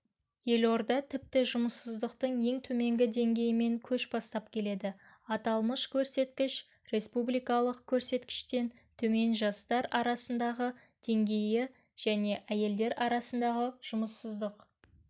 елорда тіпті жұмыссыздықтың ең төменгі деңгейімен көш бастап келеді аталмыш көрсеткіш республикалық көрсеткіштен төмен жастар арасындағы деңгейі және әйелдер арасындағы жұмыссыздық